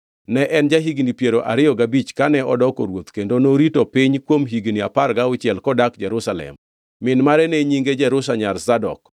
Ne en ja-higni piero ariyo gabich kane odoko ruoth kendo norito piny kuom higni apar gauchiel kodak Jerusalem. Min mare ne nyinge Jerusha nyar Zadok.